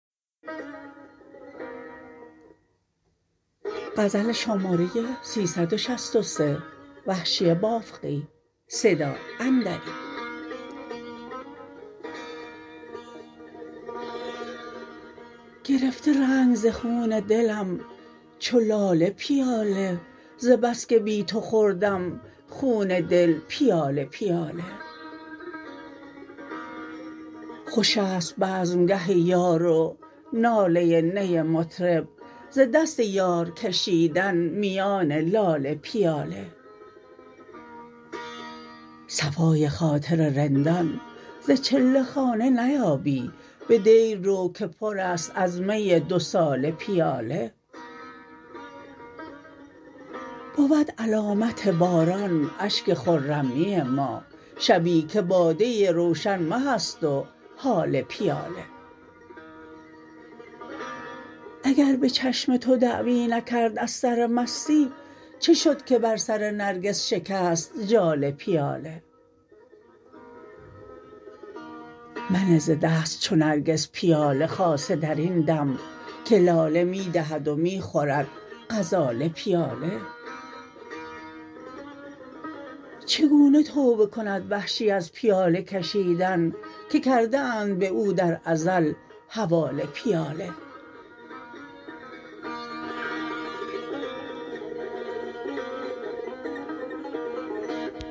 گرفته رنگ ز خون دلم چو لاله پیاله ز بسکه بی تو خورم خون دل پیاله پیاله خوش است بزمگه یار و ناله نی مطرب ز دست یار کشیدن میان لاله پیاله صفای خاطر رندان ز چله خانه نیابی به دیر رو که پر است از می دو ساله پیاله بود علامت باران اشک خرمی ما شبی که باده روشن مه است و هاله پیاله اگر به چشم تو دعوی نکرد از سر مستی چه شد که بر سر نرگس شکست ژاله پیاله منه ز دست چو نرگس پیاله خاصه در این دم که لاله می دهد و می خورد غزاله پیاله چگونه توبه کند وحشی از پیاله کشیدن که کرده اند به او در ازل حواله پیاله